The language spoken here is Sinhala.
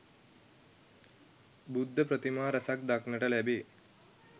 බුද්ධ ප්‍රතිමා රැසක් දක්නට ලැබේ